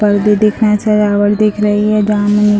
पर्दे दिख रहें हैं सजावट दिख रही है --